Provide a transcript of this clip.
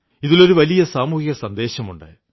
ഇതിലൊരു വലിയ സാമൂഹികസന്ദേശമുണ്ട്